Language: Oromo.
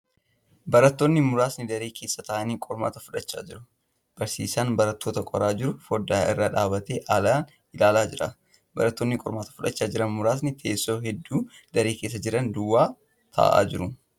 Barattoonni muraasni daree keessa taa'anii qormaata fudhachaa jiru. Barsiisaan barattoota qoraa jiru foddaa irra dhaabbatee ala ilaalaa jira. Barattoonni qormaata fudhaachaa jiran muraasa. Teessoo hedduun daree keessa jiran duwwaa taa'aa jiru.